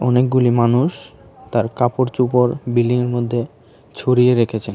অনেকগুলি মানুষ তার কাপড়চোপড় বিল্ডিংয়ের মধ্যে ছড়িয়ে রেখেছেন।